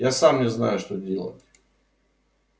я сам не знаю что делать